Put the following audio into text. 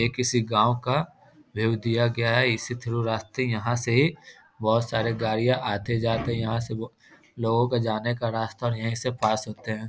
ये किसी गाँव का व्यू दिया गया है इसी थ्रू रास्ते यहाँ से बहुत सारे गाडियाँ आते-जाते यहाँ से लोगों का जाने का रास्ता यही से पास होते हैं ।